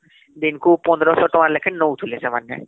ଦିନକୁ ୧୫୦୦ ତାଙ୍କ ଲେଖେ ନଉ ଥିଲେ ସେମାନ